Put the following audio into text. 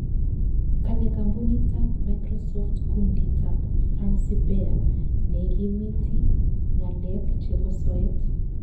kale kampunit ab Microsoft kundit ab "Fancy Bear " neikimiti ng'alek chebo soet